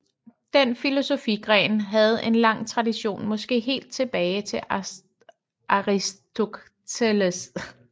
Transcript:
Den filosofigren havde en lang tradition måske helt tilbage til Aristoteles